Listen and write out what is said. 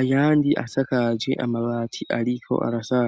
ayandi asakaje amabati ariko araza.